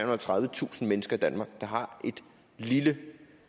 og tredivetusind mennesker i danmark der har et lille